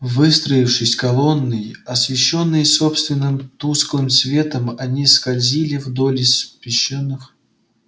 выстроившись колонной освещённые собственным тусклым светом они скользили вдоль испещрённых